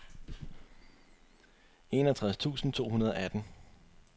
enogtres tusind to hundrede og atten